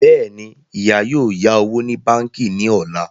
Bẹ́ẹ̀ni, ìyá yóò yá owó ní báńkì ní ọ̀la